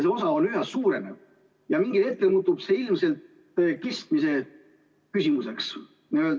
See osa üha suureneb ja mingil hetkel hakkab sellest ilmselt saama kestmise küsimus.